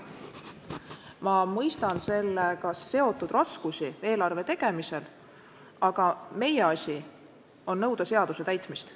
Ma mõistan sellega seotud raskusi eelarve tegemisel, aga meie asi on nõuda seaduse täitmist.